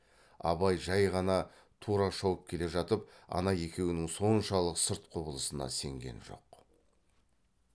абай жай ғана тұра шауып келе жатып ана екеуінің соншалық сырт құбылысына сенген жоқ